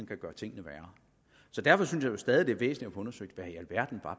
kan gøre tingene værre derfor synes jeg stadig væk er undersøgt hvad i alverden